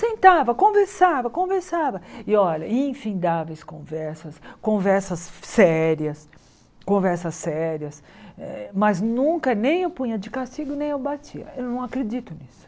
Sentava, conversava, conversava, e olha, infindáveis conversas, conversas sérias conversas sérias eh, mas nunca nem eu punha de castigo nem eu batia, eu não acredito nisso.